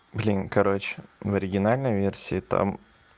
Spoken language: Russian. блин короче в оригинальной версии там